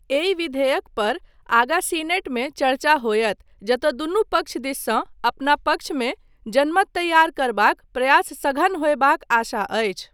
एहि विधेयक पर आगा सीनेटमे चर्चा होयत जतय दुनू पक्ष दिससँ अपना पक्षमे जनमत तैयार करबाक प्रयास सघन होयबाक आशा अछि।